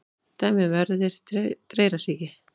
Dæmi um erfðir dreyrasýki: